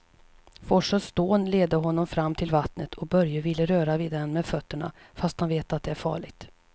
Forsens dån leder honom fram till vattnet och Börje vill röra vid det med fötterna, fast han vet att det är farligt.